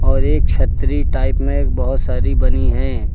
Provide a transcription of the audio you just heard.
और एक छतरी टाइप में एक बोहोत सारी बनी हैं।